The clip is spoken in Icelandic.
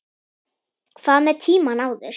Hvað með tímann áður?